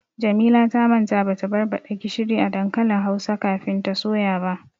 Jamila ta manta bata barbaɗa gishiri a dankalin hausa kafin ta soya ba.